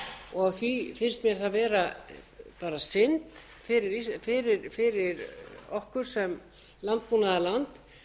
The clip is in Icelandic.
og því finnst mér það vera bara synd fyrir okkur sem landbúnaðarland